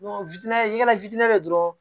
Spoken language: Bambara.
witinɛ i ka bɛ dɔrɔn